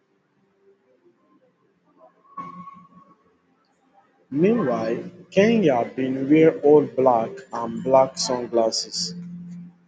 meanwhile kanye bin wear all black and black sunglasses